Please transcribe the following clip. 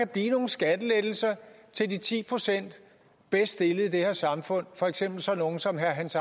blive nogle skattelettelser til de ti procent bedst stillede i det her samfund for eksempel sådan nogle som herre hans